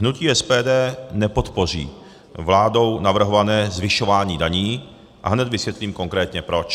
Hnutí SPD nepodpoří vládou navrhované zvyšování daní a hned vysvětlím konkrétně proč.